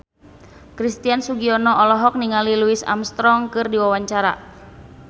Christian Sugiono olohok ningali Louis Armstrong keur diwawancara